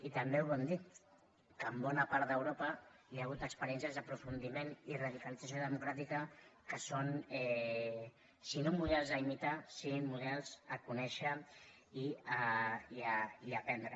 i també ho hem dit que a bona part d’europa hi ha hagut experiències d’aprofundiment i radicalització democràtica que són si no models a imitar sí models a conèixer i a aprendre